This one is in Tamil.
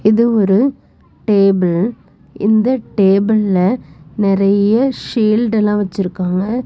இது ஒரு டேபிள் இந்த டேபிள்ல நெறைய சீல்டெல்லா வச்சிருக்காங்க.